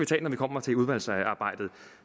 tage når vi kommer til udvalgsarbejdet